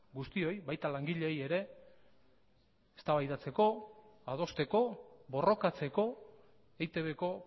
guztioi baita langileei ere eztabaidatzeko adosteko borrokatzeko eitbko